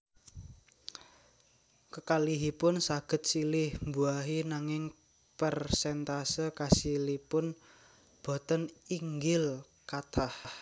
Kekalihipun saged silih mbuahi nanging perséntase kasilipun boten inggil/kathah